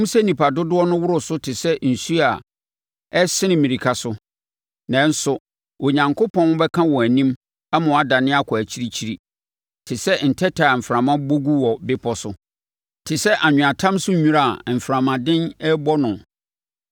Ɛwom sɛ nnipa dodoɔ no woro so te sɛ nsuo a ɛresene mmirika so, nanso, Onyankopɔn bɛka wɔn anim ama wɔadwane akɔ akyirikyiri, te sɛ ntɛtɛ a mframa bɔ gu wɔ bepɔ so te sɛ anweatam so wira a mframa den rebɔ no.